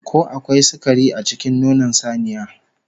Ko akwai sukari a cikin nonon saniya?